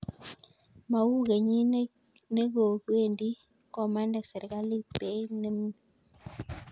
Mau kenyit nikowendi, komande serkalit beit nemnyee.